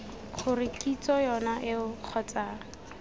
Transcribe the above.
gore kitso yone eo kgotsa